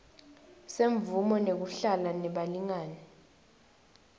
semvumo yekuhlala nebalingani